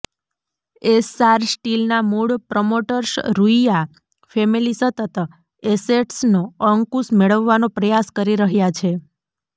એસ્સાર સ્ટીલના મૂળ promoters Ruia family સતત એસેટ્સનો અંકુશ મેળવવાનો પ્રયાસ કરી રહ્યા છે